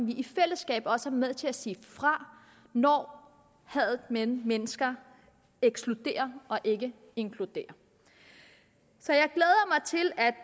vi i fællesskab også er med til at sige fra når hadet mellem mennesker ekskluderer og ikke inkluderer så